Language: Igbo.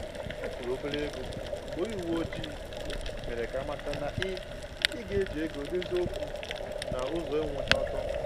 Ọ kwụrụ̀ obere égo mgbe onye uweojii mere ka amata na ị ị ga eji ego dozie okwu na ụzọ anwụghị ọtọ